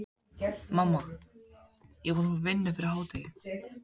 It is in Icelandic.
Mamma, ég er búinn að fá vinnu fyrir hádegi.